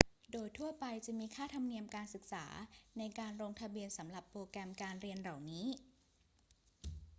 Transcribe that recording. โดยทั่วไปจะมีค่าธรรมเนียมการศึกษาในการลงทะเบียนสำหรับโปรแกรมการเรียนเหล่านี้